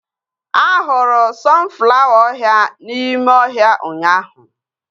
Ahụrụ sọnflawa ọhịa n'ime ọhịa ụnyaahụ